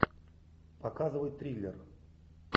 показывай триллер